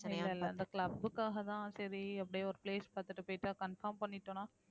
இல்ல இல்ல இந்த club க்காகதான் சரி அப்படியே ஒரு place பாத்துட்டு போயிட்டு confirm பண்ணிட்டோம்னா